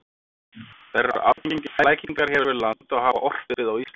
Þær eru algengir flækingar hér við land og hafa orpið á Íslandi.